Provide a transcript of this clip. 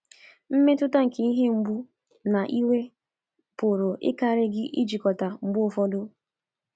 Mmetụta nke ihe mgbu na iwe pụrụ ịkarị gị ijikọta mgbe ụfọdụ.